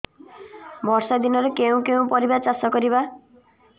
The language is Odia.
ବର୍ଷା ଦିନରେ କେଉଁ କେଉଁ ପରିବା ଚାଷ କରିବା